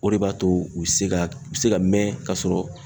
O de b'a to u bɛ se ka u se ka mɛn ka sɔrɔ